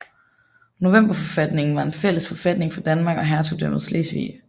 Novemberforfatningen var en fælles forfatning for Danmark og hertugdømmet Slesvig